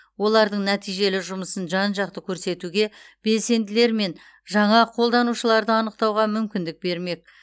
олардың нәтижелі жұмысын жан жақты көрсетуге белсенділер мен жаңа қолданушыларды анықтауға мүмкіндік бермек